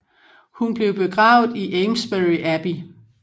Hun blev begravet i Amesbury Abbey